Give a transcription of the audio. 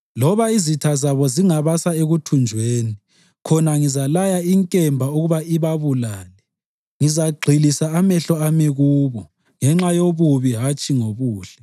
Loba izitha zabo zingabasa ekuthunjweni, khonale ngizalaya inkemba ukuba ibabulale. Ngizagxilisa amehlo ami kubo ngenxa yobubi hatshi ngobuhle.”